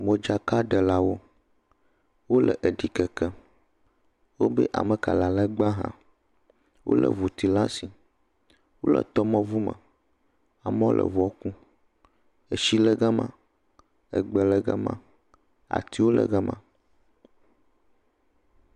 Modzaka ɖelawo, wole ɖikem wodo ameka ale gba ha, wole ʋuti ɖe asi wole tɔmeʋume amewo le ʋua kum etsi le gama, egbe le gama, atiwo le gama.